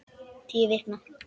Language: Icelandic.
Tíu vikna